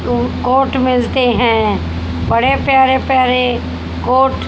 ऊं कोट मिलते हैं बड़े प्यारे प्यारे कोट --